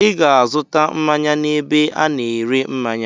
I ga-azụta mmanya n'ebe a na-ere mmanya!